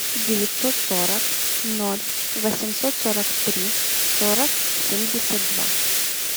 девятьсот сорок ноль восемьсот сорок три сорок семьдесят два